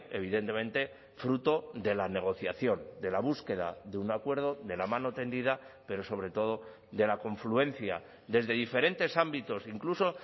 evidentemente fruto de la negociación de la búsqueda de un acuerdo de la mano tendida pero sobre todo de la confluencia desde diferentes ámbitos incluso